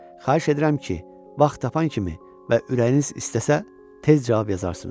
Xahiş edirəm ki, vaxt tapan kimi və ürəyiniz istəsə tez cavab yazarsınız.